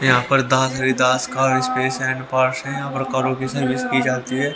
यहां पर है यहां पर की जाती है।